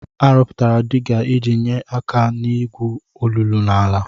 Arụpụtara diga iji nyee aka n'igwu olulu n'ala.